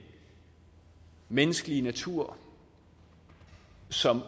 menneskelige natur som